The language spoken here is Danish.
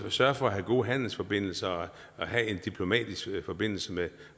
sørge for at have gode handelsforbindelser og have en diplomatisk forbindelse med